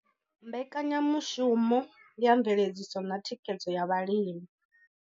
Mbekanyamushumo ya mveledziso na thikhedzo ya vhalimi.